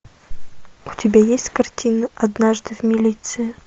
у тебя есть картина однажды в милиции